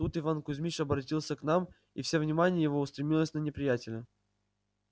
тут иван кузьмич оборотился к нам и всё внимание его устремилось на неприятеля